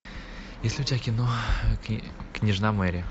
есть ли у тебя кино княжна мэри